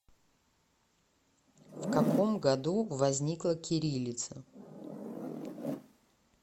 в каком году возникла кириллица